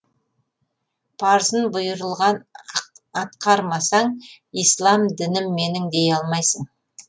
парызын бұйырылған атқармасаң ислам дінім менің дей алмайсың